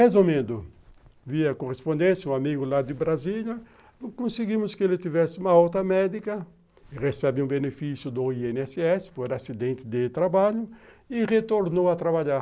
Resumindo, vi a correspondência, um amigo lá de Brasília, conseguimos que ele tivesse uma alta médica, recebe um benefício do i ene esse esse por acidente de trabalho e retornou a trabalhar.